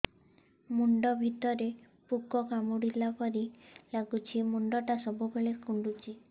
ମୁଣ୍ଡ ଭିତରେ ପୁକ କାମୁଡ଼ିଲା ପରି ଲାଗୁଛି ମୁଣ୍ଡ ଟା ସବୁବେଳେ କୁଣ୍ଡୁଚି